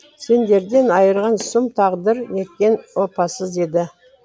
сендерден айырған сұм тағдыр неткен опасыз еді